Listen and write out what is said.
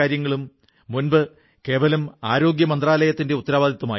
സ്വാതന്ത്ര്യത്തിനൊപ്പം കർഷകരുടെ പ്രശ്നങ്ങളെ ബന്ധപ്പെടുത്തി